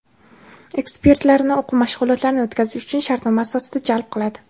ekspertlarini o‘quv mashg‘ulotlarini o‘tkazish uchun shartnoma asosida jalb qiladi.